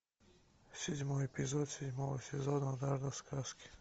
седьмой эпизод седьмого сезона однажды в сказке